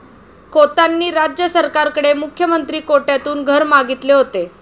खोतांनी राज्य सरकारकडे मुख्यमंत्री कोट्यातून घर मागितले होते.